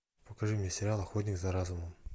покажи мне сериал охотник за разумом